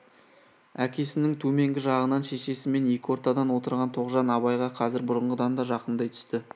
әкесінің төменгі жағынан шешесімен екі ортадан отырған тоғжан абайға қазір бұрынғыдан да жақындай түсті